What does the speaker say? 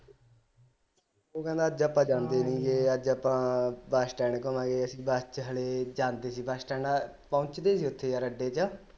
ਉਹ ਕਹਿਂਦਾ ਅੱਜ ਆਪਾ ਜਾਂਦੇ ਨੀ ਗੇ ਅੱਜ ਆਪਾ ਬਸ ਸਟੈਡ ਘੁੰਮਾਗੇ ਅਸੀ ਬਸ ਵਿਚ ਹਾਲੇ ਜਾਂਦੇ ਸੀ ਬਸ ਸਟੈਡ ਪਹੁੰਚਦੇ ਨੀ ਯਾਰ ਉਥੇ ਅੱਡੇ ਵਿਚ